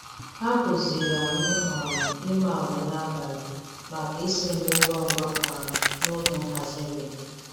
Ha kụziiri anyị um imi agwa n'abalị maka isi nri ngwa ngwa um n'oge nhazi nri.